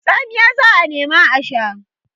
Tsamiya za a nema a sha.